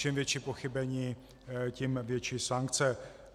Čím větší pochybení, tím větší sankce.